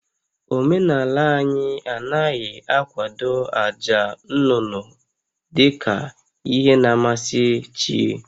Omenala anyị anaghị akwado àjà nnụnụ dị ka ihe na-amasị chi